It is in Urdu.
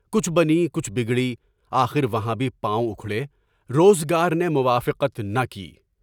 کچھ بنی کچھ جگڑی، آخر وہاں بھی پاؤں اکھڑے، روزگار نے موافقت نہ کی۔